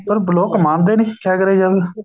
ਪਰ ਲੋਕ ਮੰਨਦੇ ਨੀ ਕਿਆ ਕਰਿਆ ਜਾਵੇ